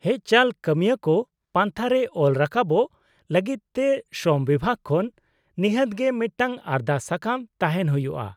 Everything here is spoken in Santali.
-ᱦᱮᱡᱪᱟᱞ ᱠᱟᱹᱢᱤᱭᱟᱹᱠᱚ ᱯᱟᱱᱛᱷᱟ ᱨᱮ ᱚᱞ ᱨᱟᱠᱟᱵᱚᱜ ᱞᱟᱹᱜᱤᱫᱛᱮ ᱥᱨᱚᱢ ᱵᱤᱵᱷᱟᱹᱜ ᱠᱷᱚᱱ ᱱᱤᱦᱟᱹᱛ ᱜᱮ ᱢᱤᱫᱴᱟᱝ ᱟᱨᱫᱟᱥ ᱥᱟᱠᱟᱢ ᱛᱟᱦᱮᱱ ᱦᱩᱭᱩᱜᱼᱟ ᱾